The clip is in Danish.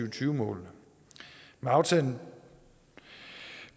og tyve målene med aftalen